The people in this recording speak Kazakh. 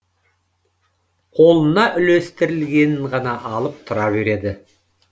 қолына үлестірілгенін ғана алып тұра береді